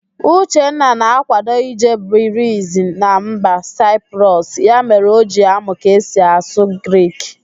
Uchenna na-ákwádo ije birizie na mba Saịprọs, ya mere O ji amụ ka esi asụ Grik.